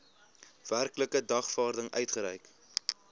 werklike dagvaarding uitgereik